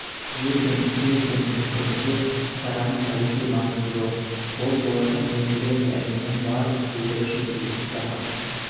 юрген климкенің пікірінше шараның тарихи маңызы зор ол болашақ энергиясы әлемнің барлық елдері үшін өзекті тақырып